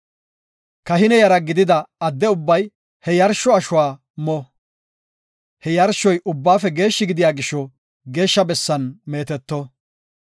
Kahine yara gidida adde ubbay he yarsho ashuwa mo. He yarshoy ubbaafe geeshshi gidiya gisho geeshsha bessan meeteto.